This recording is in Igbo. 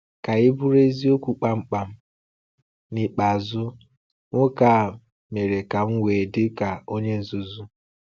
Ka anyị bụrụ eziokwu kpamkpam, n’ikpeazụ nwoke a mere ka m wee dị ka onye nzuzu.